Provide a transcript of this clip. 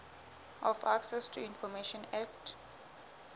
of access to information act